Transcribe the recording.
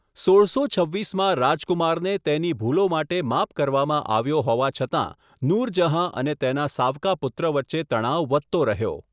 સોળસો છવ્વીસમાં રાજકુમારને તેની ભૂલો માટે માફ કરવામાં આવ્યો હોવા છતાં, નૂરજહાં અને તેના સાવકા પુત્ર વચ્ચે તણાવ વધતો રહ્યો.